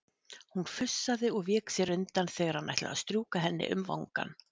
Hún fussaði og vék sér undan þegar hann ætlaði að strjúka henni um vangann.